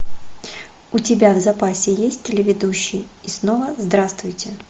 у тебя в запасе есть телеведущий и снова здравствуйте